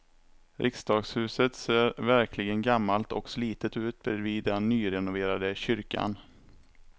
Riksdagshuset ser verkligen gammalt och slitet ut bredvid den nyrenoverade kyrkan.